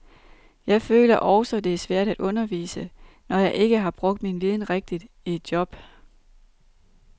Jeg føler også det er svært at undervise, når jeg ikke har brugt min viden rigtigt i et job.